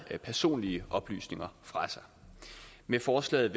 personlige oplysninger fra sig med forslaget